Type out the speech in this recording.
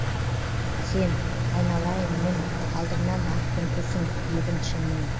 сен айналайын інім алдыңнан ақ күн тусын дедің ішіңнен